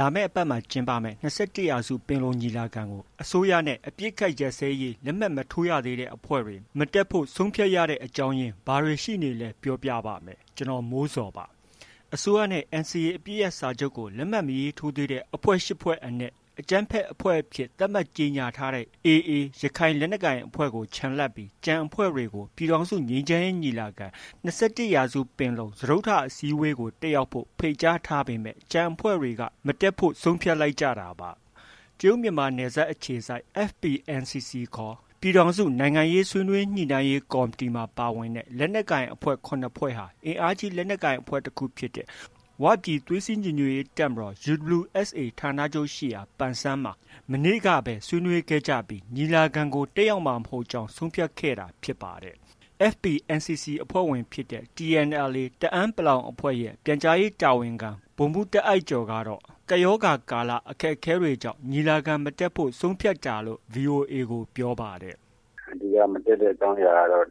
လာမယ့်အပတ်မှာ ကျင်းပမယ့် ၂၁ ရာစု ပင်လုံညီလာခံကို အစိုးရနဲ့ အပစ်အခတ်ရပ်စဲရေး လက်မှတ်မထိုးရသေးတဲ့အဖွဲ့တွေ မတက်ဖို့ ဆုံးဖြတ်ရတဲ့ အကြောင်းရင်း ဘာတွေရှိနေသလဲ ပြောပြပါမယ်။ ဗွီအိုအေမြန်မာပိုင်းသတင်းထောက် ကိုမိုးဇော်က သတင်းပေးပို့ထားပါတယ်။ အစိုးရနဲ့ NCA အပစ်ရပ်စာချုပ်ကို လက်မှတ် မရေးထိုးသေးတဲ့ အဖွဲ့ ရှစ် ဖွဲ့အနက် အကြမ်းဖက်အဖွဲ့အဖြစ် သတ်မှတ်ကြေညာထားတဲ့ AA ရခိုင်လက်နက်ကိုင်အဖွဲ့ကို ချန်လှပ်ပြီး ကျန်အဖွဲ့တွေကို ပြည်ထောင်စုငြိမ်းချမ်းရေး ညီလာခံ ၂၁ ရာစုပင်လုံကို တက်ရောက်ဖို့ ဖိတ်ကြားထားပေမဲ့ ကျန်အဖွဲ့တွေက မတက်ဖို့ ဆုံးဖြတ်လိုက်ကြတာပါ။ တရုတ်မြန်မာနယ်စပ်အခြေစိုက် FPNCC ခေါ် ပြည်ထောင်စု ဆွေးနွေးညှိနှိုင်းရေးကော်မတီမှာ ပါဝင်တဲ့ လက်နက်ကိုင်အဖွဲ့ ၇ ဖွဲ့ဟာ အင်အားကြီးလက်နက်ကိုင်အဖွဲ့တခုဖြစ်တဲ့ ဝပြည်သွေးစည်းညီညွှတ်ရေးတပ်ဖွဲ့ UWSA ဌာနချုပ်ရှိရာ ပန်ဆန်းမှာ မနေ့ကပဲ ဆွေးနွေးခဲ့ကြပြီး ညီလာခံကို တက်ရောက်မှာ မဟုတ်ကြောင်း ဆုံးဖြတ်ခဲ့တာ ဖြစ်ပါတယ်။ FPNCC အဖွဲ့ဝင်ဖြစ်တဲ့ TNLA တအန်း(ပလောင်) အဖွဲ့ရဲ့ ပြန်ကြားရေးတာဝန်ခံ ဗိုလ်မှူး တာ့အိုက်ကျော်ကတော့ ကပ်ရောဂါကာလ အခက်အခဲတွေကြောင့် ညီလာခံမတက်ဖို့ ဆုံးဖြတ်တာလို့ VOA ကို ပြောပါတယ်။ “အဓိက မတက်ရောက်တဲ့အကြောင်းကတော့ လော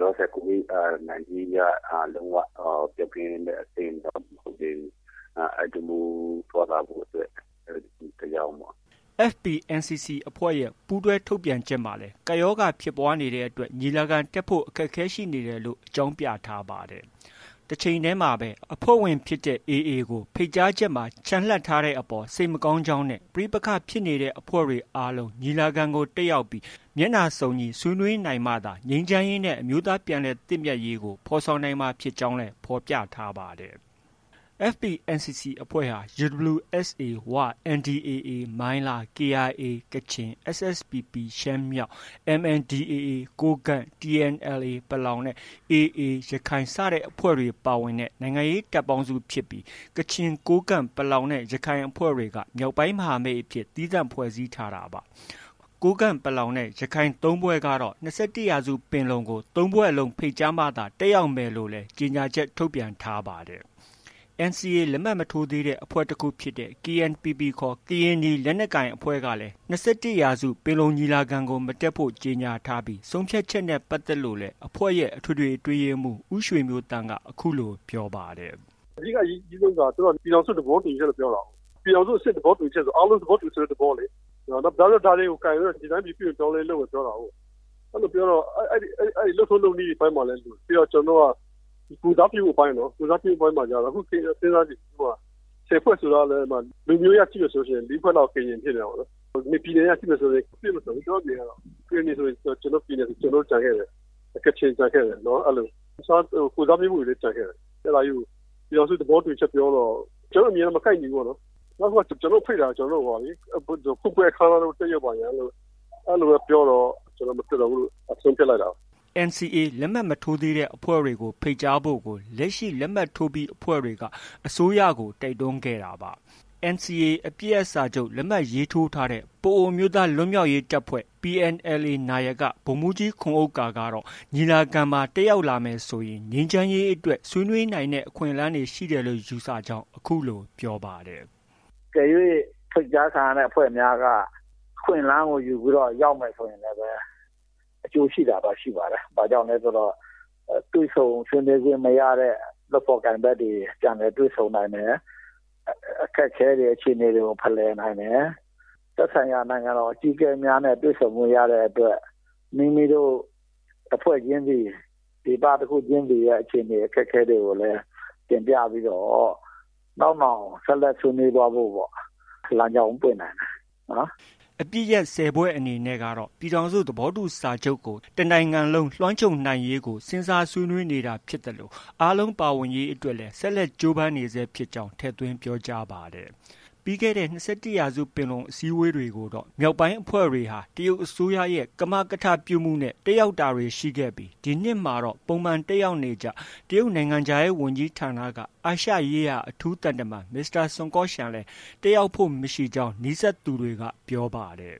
လောဆယ် COVID 19 က လုံး၀ ပျောက်ကင်းတဲ့ အဆင့်တော့ မဟုတ်သေးဘူး။ အဲဒါကြောင့် သွားလာဖို့အတွက် အခက်အခဲကြောင့်ပေါ့။” FPNCC အဖွဲ့ရဲ့ ပူးတွဲထုတ်ပြန်ချက်မှာလည်း ကပ်ရောဂါဖြစ်ပွားနေတဲ့အတွက် ညီလာခံတက်ဖို့ အခက်အခဲရှိနေတယ်လို့ အကြောင်းပြထားပါတယ်။ တချိန်တည်းမှာပဲ အဖွဲ့ဝင်ဖြစ်တဲ့ AA ကို ဖိတ်ကြားချက်မှာ ချန်လှပ်ထားတဲ့အပေါ် စိတ်မကောင်းကြောင်းနဲ့ ပဋိပက္ခဖြစ်နေတဲ့အဖွဲ့တွေအားလုံး ညီလာခံကို တက်ရောက်ပြီး မျက်နှာစုံညီဆွေးနွေးနိုင်မှသာ ငြိမ်းချမ်းရေးနဲ့ အမျိုးသား ပြန်လည်သင့်မြတ်ရေးကို ဖော်ဆောင်နိုင်မှာ ဖြစ်ကြောင်းလည်း ဖော်ပြထားပါတယ်။ FPNCC အဖွဲ့ဟာ UWSA ဝ၊ NDAA မိုင်းလား၊ KIA ကချင်၊ SSPP ရှမ်းမြောက်၊ MNDAA ကိုးကန့်၊ TNLA ပလောင်နဲ့ AA ရခိုင်အဖွဲ့တွေ ပါဝင်တဲ့ နိုင်ငံရေး တပ်ပေါင်းစုဖြစ်ပြီး ကချင်၊ ကိုးကန့်၊ ပလောင်နဲ့ ရခိုင်အဖွဲ့တွေက မြောက်ပိုင်းမဟာမိတ်အဖြစ် သီးသန့်ဖွဲ့စည်းထားတာပါ။ ကိုးကန့်၊ ပလောင် နဲ့ ရခိုင် ၃ ဖွဲ့ကတော့ ၂၁ ရာစုပင်လုံကို ၃ ဖွဲ့လုံးဖိတ်ကြားမှသာ တက်ရောက်မယ်လို့လည်း ကြေညာချက် ထုတ်ပြန်ထားပါတယ်။ NCA လက်မှတ် မထိုးသေးတဲ့ အဖွဲ့တစ်ခုဖြစ်တဲ့ KNPP ခေါ် ကရင်နီလက်နက်ကိုင်အဖွဲ့ကလည်း ၂၁ ရာစုပင်လုံညီလာခံမတက်ဖို့ ကြေညာထားပြီး၊ ဆုံးဖြတ်ချက်နဲ့ ပတ်သက်လို့လည်း အဖွဲ့ရဲ့ အထွေထွေအတွင်းရေးမှူး ဦးရွှေမျိုးသန့်က အခုလိုပြောပါတယ်။ “အဓိက အရေးကြီးဆုံးက သူတိုက ပြည်ထောင်စုသဘောတူညီချက်လို့ ပြောတာကိုး။ ပြည်ထောင်စုအဆင့် သဘောတူညီချက်ဆို အားလုံး သဘောတူတဲ့ သဘောလေ။ နောက်ပြီးတော့ ဒါတွေကို ကိုင်ပြီးတော့ ဒီတိုင်းပြည် ပြုပြင်ပြောင်းလဲရေး လုပ်မယ်ပြောတာကိုး။ အဲလိုပြောတော့ အဲဒီ လုပ်ထုံးလုပ်နည်းအပိုင်းများလည်း လိုတယ်။ နောက် ကျနော်တို့က ကိုယ်စားပြုမှုအပိုင်းနော်။ ကိုယ်စားပြုမှုအပိုင်းမှာ ခု စဉ်းစားကြည့် ၁၀ဖွဲ့ဆိုတာကလည်း လူမျိုးရေးအရ ကြည့်မယ်ဆို ၄ဖွဲ့လောက် ကရင် ဖြစ်နေတာပေါ့။ ပြည်နယ်အရ ကြည့်မယ်ဆို မပြည့်အစုံဘူး ကျနော့အမြင်အရတော့။ ကရင်နီဆိုရင် ကျနော်တို့ ပြည်နယ်ဆို ကျနော်တို့ ကျန်ခဲ့တယ်။ ကချင်ကျန်ခဲ့တယ် အဲလို။ တစ်ခြား ကိုယ်စားပြုမှုတွေလည်း ကျန်ခဲ့တယ်။ အဲဒါကြီးကို ပြည်ထောင်စု သဘောတူညီချက် ပြောတော့ ကျနော်တို့ အမြင်နဲ့ မကိုက်ညီဘူးပေါ့နော်။ နောက်တစ်ခုက ကျနော်တို့ဖိတ်တာက ဖွင့်ပွဲအခမ်းအနားသို့ တက်ရောက်ပါရန် အဲလိုပဲ ပြောတော့ ကျနော်တို့ မတက်တော့ဘူးလို့ ဆုံးဖြတ်လိုက်တာ။” NCA လက်မှတ်မထိုးသေးတဲ့အဖွဲ့တွေ ဖိတ်ကြားဖို့ကို လက်ရှိ လက်မှတ်ထိုးပြီး အဖွဲ့တွေက အစိုးရကို တိုက်တွန်းခဲ့တာပါ။ NCA အပစ်ရပ် လက်မှတ်ထိုးထားတဲ့ ပအိုဝ်းအမျိုးသားလွတ်မြောက်ရေးတပ်ဖွဲ့ PNLA နာယက ဗိုလ်မှူးကြီးခွန်ဥက္ကာကတော့ ညီလာခံမှာ တက်ရောက်လာမယ်ဆိုရင် ငြိမ်းချမ်းရေးအတွက် ဆွေးနွေးနိုင်တဲ့ အခွင့်အလမ်းရှိတယ်လို့ ယူဆကြောင်း အခုလို ပြောပါတယ်။ “အကယ်၍ ဖိတ်ကြားခံရတဲ့အဖွဲ့များက အခွင့်အလမ်းကို ယူပြီးတော့ ရောက်မယ်ဆိုရင် အကျိုးရှိတာတော့ ရှိပါတယ်။ ဘာလို့လဲဆိုတော့ တွေ့ဆုံဆွေးနွေးခွင့်မရတဲ့ လုပ်ဖော်ကိုင်ဖက်တွေ ပြန်လည်တွေ့ဆုံနိုင်တယ်။ အခက်အခဲတွေ အခြေအနေတွေကို ဖလှယ်နိုင်တယ်။ သက်ဆိုင်ရာနိုင်ငံတော် အကြီးအကဲများနဲ့ တွေ့ဆုံခွင့် ရတဲ့အတွက် မိမိတို့ တစ်ဖွဲ့ချင်းစီ၊ ဒေသတစ်ခုချင်းစီရဲ့ အခြေအနေ အခက်အခဲတွေကိုလည်း တင်ပြပြီးတော့ နောက်နောင် ဆက်လက် ဆွေးနွေးသွားဖို့ လမ်းကြောင်းပွင့်နိုင်တယ်နော်။” အပစ်ရပ် ၁၀ ဖွဲ့အနေနဲ့ကတော့ ပြည်ထောင်စု သဘောတူစာချုပ်ကို တနိုင်ငံလုံးလွှမ်းခြုံနိုင်ရေးကို စဉ်းစားဆွေးနွေးနေတာဖြစ်သလို အားလုံးပါဝင်ရေးအတွက် ဆက်လက် ကြိုးပမ်းနေဆဲဖြစ်ကြောင်း ထည့်သွင်းပြောကြားပါတယ်။ ပြီးခဲ့တဲ့ ၂၁ ရာစုပင်လုံ အစည်းအဝေးတွေကိုတော့ မြောက်ပိုင်းအဖွဲ့ဝင်တွေဟာ တရုတ်အစိုးရရဲ့ ကမကထ ပြုမှုနဲ့ တက်ရောက်တာတွေ ရှိခဲ့ပြီး ဒီနှစ်မှာတော့ ပုံမှန်တက်ရောက်နေကျ တရုတ်နိုင်ငံခြားရေးဝန်ကြီးဌာနက အာရှရေးရာ အထူးသံတမန် မစ္စတာ ဆွန်ကော့ရှန်လည်း တက်ရောက်ဖို့ မရှိကြောင်း နီးစပ်သူတွေက ပြောပါတယ်